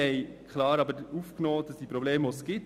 Wir haben aber die bestehenden Probleme klar aufgenommen.